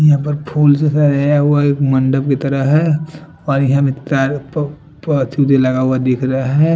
यहाँ पर फुल से सझाया हुआ एक मंडप की तरह है और लगाया हुआ दिख रहा ह--